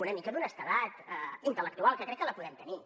una mica d’honestedat intel·lectual que crec que la podem tenir